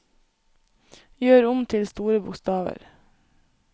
Gjør om til store bokstaver